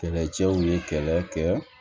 Kɛlɛcɛw ye kɛlɛ kɛ